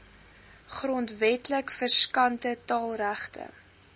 grondwetlik verskanste taalregte